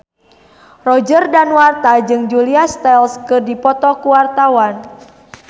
Roger Danuarta jeung Julia Stiles keur dipoto ku wartawan